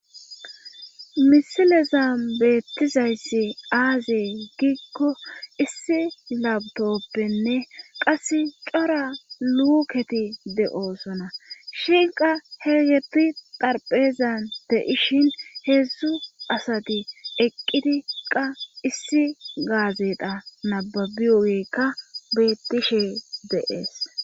misilezan beettizayssi aaze giikko issi labtoppenne qase cora luuketi de7oosona shinqa he geti darpeezan de7ishin heedzdzu asati eqqidi qa issi gaazedha nababiyogeykka beettishe de'ees